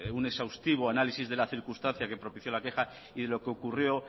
un exhaustivo análisis de la circunstancia que propicio la queja y lo que ocurrió